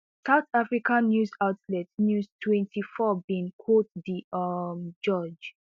south africa news outlet news twenty-four bin quote di um judge